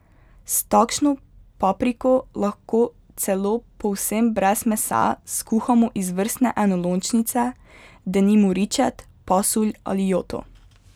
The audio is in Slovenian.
S takšno papriko lahko celo povsem brez mesa skuhamo izvrstne enolončnice, denimo ričet, pasulj ali joto.